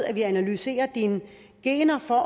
at analysere dine gener for at